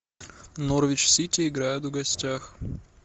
норвич сити играют в гостях